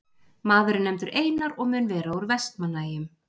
Maður er nefndur Einar og mun vera úr Vestmannaeyjum.